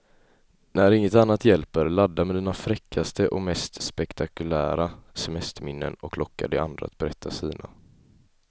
När inget annat hjälper, ladda med dina fräckaste och mest spektakulära semesterminnen och locka de andra att berätta sina.